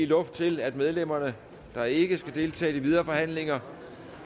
luft til at medlemmer der ikke skal deltage i de videre forhandlinger